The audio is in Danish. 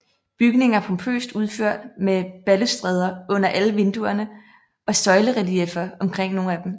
Bygningen er pompøst udført med balustrader under alle vinduerne og søjlerelieffer omkring nogle af dem